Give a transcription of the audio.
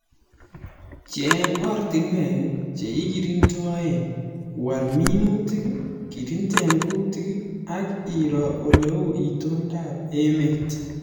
Cheng ortinwek che ikirindoe ,wal minutik ,kirinde kuutik ak iroo oleu itondob emet